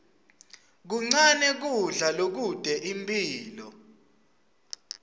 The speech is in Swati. kuncane kudla lokute imphilo